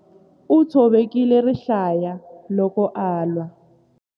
U tshovekile rihlaya loko a lwa.